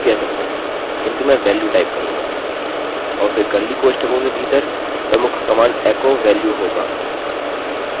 और फिर कर्लीcurly कोष्ठकों के भीतर प्रमुख कमांड echo valueएको वेल्यूहोगा